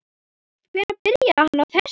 Hvenær byrjaði hann á þessu?